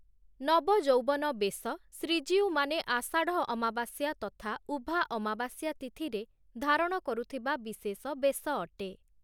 ନବଯୌବନ ବେଶ' ଶ୍ରୀଜୀଉମାନେ ଆଷାଢ଼ ଅମାବାସ୍ୟା ତଥା ଉଭା ଅମାବାସ୍ୟା ତିଥିରେ ଧାରଣ କରୁଥିବା ବିଶେଷ ବେଶ ଅଟେ ।